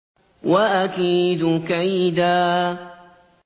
وَأَكِيدُ كَيْدًا